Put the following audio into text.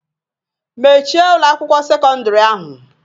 Mechie Ụlọ akwụkwọ sekọndrị ahu.